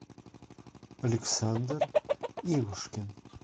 александр ивушкин